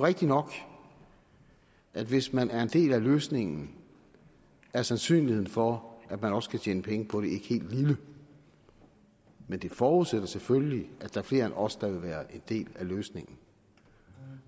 rigtigt nok at hvis man er en del af løsningen er sandsynligheden for at man også kan tjene penge på det ikke helt lille men det forudsætter selvfølgelig at der er flere end os der vil være en del af løsningen